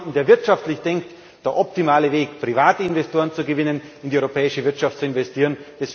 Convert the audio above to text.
Das ist für jemand, der wirtschaftlich denkt, der optimale Weg, private Investoren zu gewinnen, in die europäische Wirtschaft zu investieren.